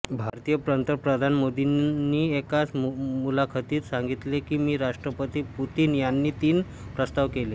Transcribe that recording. भारतीय पंतप्रधान मोदींनी एका मुलाखतीत सांगितले की मी राष्ट्रपती पुतिन यांना तीन प्रस्ताव केले